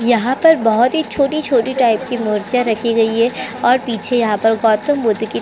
यहाँ पर बहोत ही छोटी-छोटी टाईप की मुर्तिया राखी गई है और पीछे यहाँ पर बौद्ध मूर्ति की --